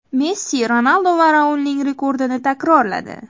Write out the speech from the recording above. Messi Ronaldu va Raulning rekordini takrorladi.